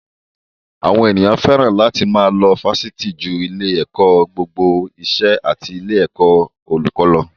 Àwọn ènìyàn fẹ́ràn àti lọ Fásitì ju ilé-ẹ̀kọ́ gbogbo ìṣẹ́ àti ilé-ẹ̀kọ́ olùkó lọ.